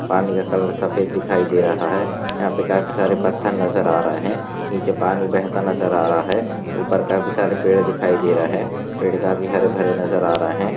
पानी का कलर सफ़ेद दिखाई दे रहा है यहा पे काफी सारे पत्थर नजर आ रहे नीचे पानी बहता नजर आ रहा है ऊपर काफी सारे पेड़ दिखाई दे रहे पेड़ काफी हरे भरे नजर आ रहे।